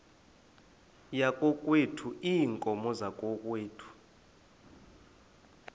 yakokwethu iinkomo zakokwethu